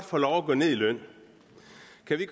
få lov at gå ned i løn